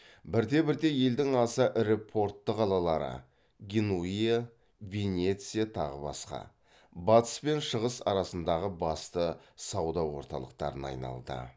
бірте бірте елдің аса ірі портты қалалары батыс пен шығыс арасындағы басты сауда орталықтарына айналды